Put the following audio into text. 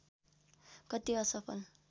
कति असफल